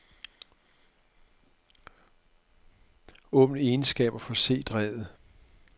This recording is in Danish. Åbn egenskaber for c-drevet.